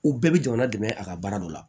U bɛɛ bɛ jamana dɛmɛ a ka baara dɔ la